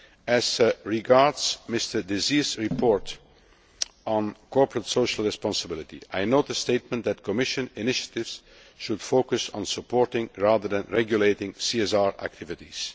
As regards Mr Désir's report on corporate social responsibility, I note the statement that Commission initiatives should focus on supporting rather than regulating CSR activities'.